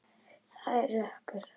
Það er rökkur.